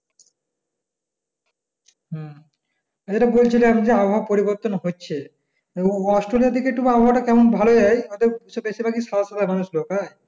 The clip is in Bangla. হম আর যেটা বলছিলাম আবহাওয়া পরিবর্তন হচ্ছে অস্ট্রেলিয়া থেকে তো আবহাওয়া কেমন ভালো যায় তাদের বেশির ভাগ সহজ সরল মানুষ ঢুকায়